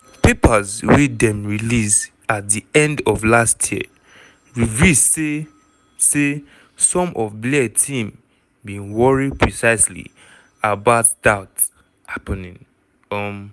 papers wey dem release at di end of last year reveal say say some of blair team bin worry precisely about dat happening. um